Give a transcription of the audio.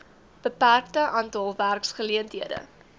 beperkte aantal werkgeleenthede